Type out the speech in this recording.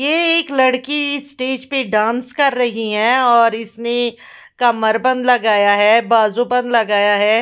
ये एक लड़की स्टेज पे डांस कर रही है और इसने कमर बंध लगाया है बाजु बंध लगाया है ।